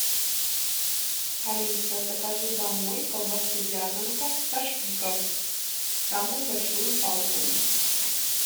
алиса закажи домой колбасу вязанка со шпиком самую большую палку